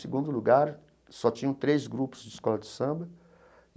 Segundo lugar, só tinham três grupos de escola de samba.